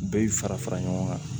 U bɛ fara fara ɲɔgɔn kan